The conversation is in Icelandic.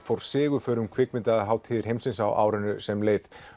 fór sigurför á kvikmyndahátíðir heimsins á árinu sem leið